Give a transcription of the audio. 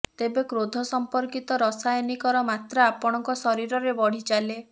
ତେବେ କ୍ରୋଧ ସମ୍ପର୍କିତ ରାସାୟନିକର ମାତ୍ରା ଆପଣଙ୍କ ଶରୀରରେ ବଢ଼ି ଚାଲେ